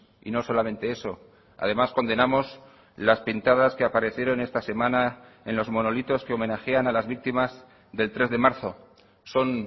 y no solamente eso además condenamos las pintadas que aparecieron esta semana en los monolitos que homenajean a las víctimas del tres de marzo son